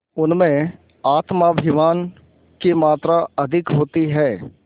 उनमें आत्माभिमान की मात्रा अधिक होती है